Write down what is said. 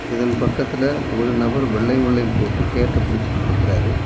இதன் பக்கத்துல ஒரு நபர் வெள்ளையும் வெள்ளையும் போட்டு கேட்ட புடிச்சிகிட் நிக்கிறாரு.